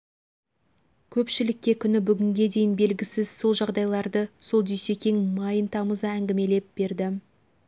көпшілікке күні бүгінге дейін белгісіз сол жағдайларды сол дүйсекең майын тамыза әңгімелеп берді